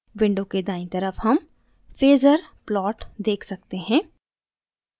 window के दायीं तरफ हम phasor plot देख सकते हैं